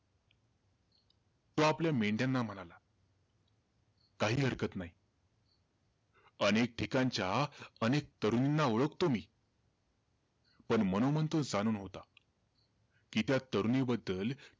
तो आपल्या मेंढ्याना म्हणाला, काही हरकत नाही. अनेक ठिकाणच्या अनेक तरुणींना ओळखतो मी. पण मनोमन तो जाणून होता, कि तो त्या तरुणीबद्दल,